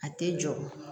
A tɛ jɔ